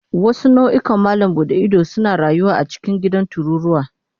Wasu nau'ikan malam buɗe ido suna rayuwa a cikin gidan tururuwa.